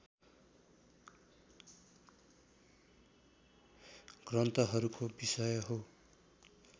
ग्रन्थहरूको विषय हो